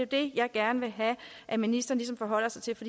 det jeg gerne vil have at ministeren ligesom forholder sig til for